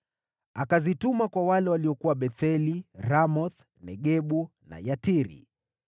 Akazituma kwa wale waliokuwa Betheli, Ramoth-Negebu na Yatiri;